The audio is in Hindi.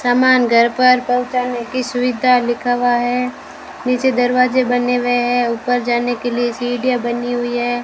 सामान घर पर पहुंचाने की सुविधा लिखा हुआ है नीचे दरवाजे बने हुए हैं ऊपर जाने के लिए सीढ़ियां बनी हुई है।